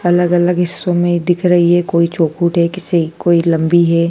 अलग अलग हिस्सों में दिख रही है कोई चोखुट है किसी कोई लंबी है।